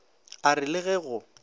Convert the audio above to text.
a re le ge o